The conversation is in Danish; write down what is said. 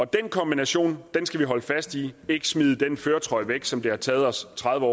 den kombination skal vi holde fast i vi ikke smide den førertrøje væk som det har taget os tredive